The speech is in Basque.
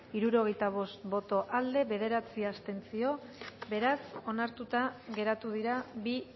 hirurogeita bost boto aldekoa bederatzi abstentzio beraz onartuta geratu dira bi